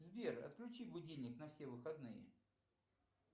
сбер отключи будильник на все выходные